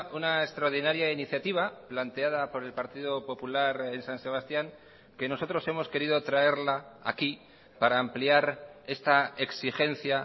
una extraordinaria iniciativa planteada por el partido popular en san sebastián que nosotros hemos querido traerla aquí para ampliar esta exigencia